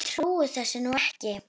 Ég trúi þessu nú ekki!